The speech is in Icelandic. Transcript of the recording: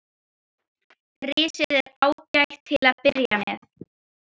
Risið er ágætt til að byrja með.